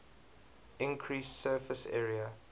increased surface area